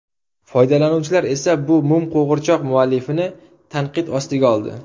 Foydalanuvchilar esa bu mum qo‘g‘irchoq muallifini tanqid ostiga oldi.